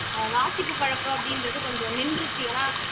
அஹ் வாசிப்பு பழக்கம் அப்படின்றது கொஞ்சம் நின்றுச்சு ஏன்னா